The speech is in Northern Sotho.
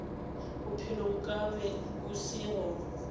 bophelo nkabe bo se gona